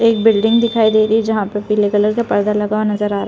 एक बिल्डिंग दिखाई दे रही है जहाँ पे पीले कलर का पर्दा लगा हुआ नज़र आ रहा--